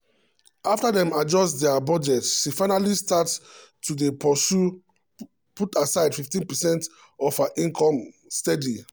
after dem adjust dia budget she finally start to dey put aside 15 percent of her income steady.